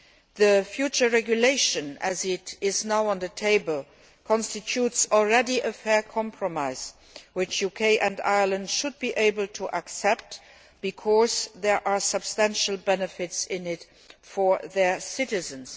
The future regulation, which is now on the table, already constitutes a fair compromise which the UK and Ireland should be able to accept because there are substantial benefits in it for their citizens.